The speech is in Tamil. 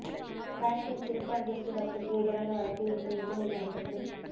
காஷ்மீர் சிறப்பு அந்தஸ்து ரத்துக்கு எதிரான வழக்கு இன்று உச்ச நீதிமன்றத்தில்